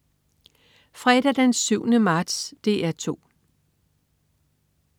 Fredag den 7. marts - DR 2: